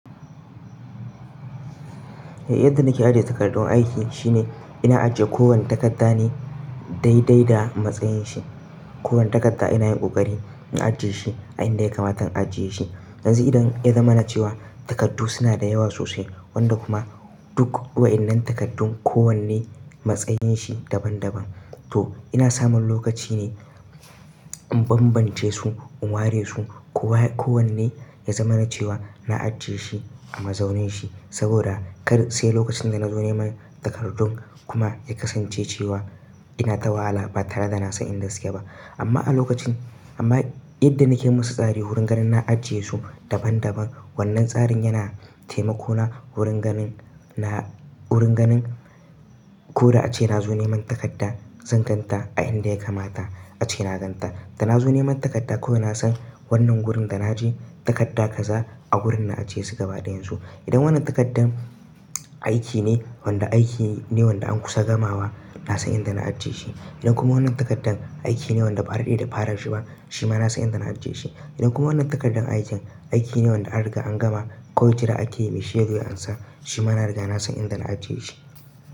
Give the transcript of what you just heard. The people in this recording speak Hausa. Yadda nake ajiye takardun aiki shine, ina ajiye kowane takarda ne, dai dai da matsayin shi. Kowane takarda ina yin ƙoƙari in ajiye shi a inda ya kamata in ajiye shi. Yanzu idan ya zama na cewa, takardu suna da yawa sosai, wanda kuma duk wa'innan takardun kowanne, matsayin shi daban-daban. To, ina samun lokaci ne, in bambance su, in ware su. Ko wa-- ko wanne, ya zama na cewa na ajiye shi a mazaunin shi. Saboda, kar sai lokacin da na zo neman takardun, kuma, ya kasance cewa, ina tawala ba tare da na san inda suke ba. Amma a lokacin, amma yadda nake musu tsari wurin ganin na ajiye su, daban-daban wannan tsarin yana taimako na wurin ganin na-- wurin ganin ko da ace na zo neman takarda zan gan ta a inda ya kamata ace na gan ta. Da na zo neman takarda ko ina san wannan wurin da na ajiye, takarda kaza a wurin na ajiye su gaba ɗayan su. Idan wannan takardan, aiki ne wanda aiki ne wanda an kusa gamawa, na san inda na ajiye shi. Idan kuma wannan takardan, aiki ne wanda ɓare daidai da ɓaren shi ba, shi ma na san inda na ajiye shi. Idan kuma wannan takardan aikin, aiki ne wanda an riga an gama kawai jira ake yi mai shaidar ya ansa shi ma na riga na san inda na ajiye shi.